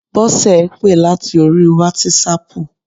Bọ́sẹ̀ pè láti orí wátísapù